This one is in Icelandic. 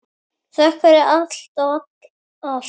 Þökk fyrir allt og allt.